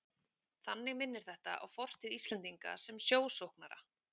Þannig minnir þetta á fortíð Íslendinga sem sjósóknara.